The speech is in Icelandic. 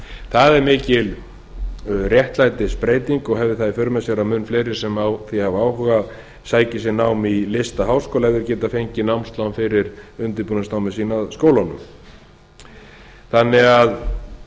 það er mikil réttlætisbreyting og hefur það í för með sér að mun fleiri sem hafa á því áhuga sæki sér nám í listaháskóla ef þeir geta fengið námslán fyrir undirbúningsnámi sínu að skólanum þannig að